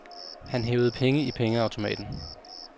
Han hævede penge i pengeautomaten.